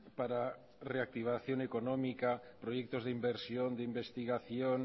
para reactivación económica proyectos de inversión de investigación